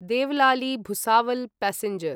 Deolali Bhusawal passenger